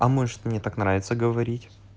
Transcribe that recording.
а может мне так нравится говорить